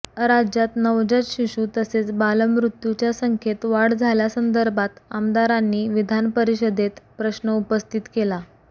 राज्यात नवजात शिशू तसेच बालमृत्यूच्या संख्येत वाढ झाल्यासंदर्भात आमदारांनी विधानपरिषदेत प्रश्न उपस्थित केला